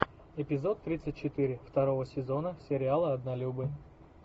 эпизод тридцать четыре второго сезона сериала однолюбы